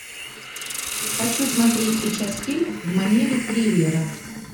хочу смотреть сейчас фильм в манере триллера